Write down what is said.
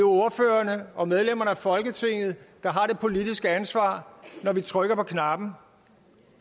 ordførerne og medlemmerne af folketinget der har det politiske ansvar når vi trykker på knappen